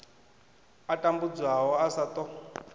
a tambudzwaho a sa ṱo